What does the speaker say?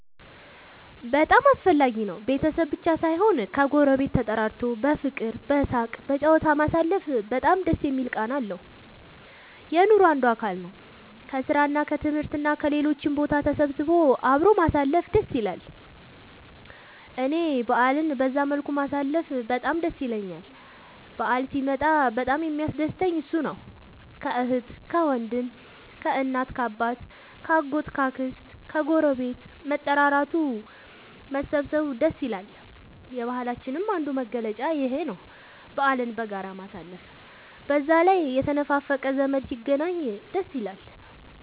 በጣም አስፈላጊ ነው ቤተሰብ ብቻ ሳይሆን ከ ጎረቤት ተጠራርቶ በፍቅር በሳቅ በጨዋታ ማሳለፉ በጣም ደስ የሚል ቃና አለው። የኑሮ አንዱ አካል ነው። ከስራ እና ከትምህርት እና ከሌሎችም ቦታ ተሰብስቦ አብሮ ማሳለፍ ደስ ይላል እኔ በአልን በዛ መልኩ ማሳለፍ በጣም ደስ ይለኛል በአል ሲመጣ በጣም የሚያስደስተኝ እሱ ነው። ከአህት ከወንድም ከእናት ከአባት ከ አጎት ከ አክስት ከግረቤት መጠራራቱ መሰባሰብ ደስ ይላል። የባህላችንም አንዱ መገለጫ ይኽ ነው በአልን በጋራ ማሳለፍ። በዛ ላይ የተነፋፈቀ ዘመድ ሲገናኝ ደስ ይላል